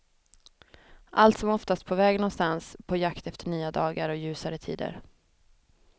Allt som oftast på väg någonstans, på jakt efter nya dagar och ljusare tider.